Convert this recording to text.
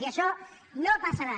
i això no passarà